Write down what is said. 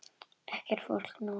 Ekkert fólk nálægt.